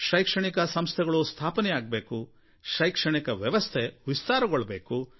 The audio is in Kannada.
ಶೈಕ್ಷಣಿಕ ಸಂಸ್ಥೆಗಳು ಸ್ಥಾಪನೆಯಾಗಬೇಕು ಶೈಕ್ಷಣಿಕ ವ್ಯವಸ್ಥೆ ವಿಸ್ತಾರಗೊಳ್ಳಬೇಕು